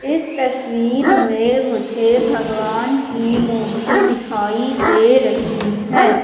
इस तस्वीर में मुझे भगवान की मूर्ति दिखाई दे रही है।